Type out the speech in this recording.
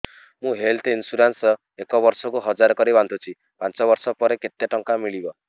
ମୁ health insurance ଏକ ବର୍ଷକୁ ହଜାର କରି ବାନ୍ଧୁଛି ପାଞ୍ଚ ବର୍ଷ ପରେ କେତେ ଟଙ୍କା ମିଳିବ